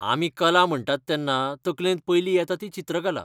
आमी कला म्हणटात तेन्ना तकलेंत पयली येता ती चित्रकला.